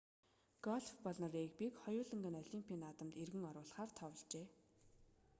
гольф болон регбиг хоёуланг олимпийн наадамд эргэн оруулахаар товложээ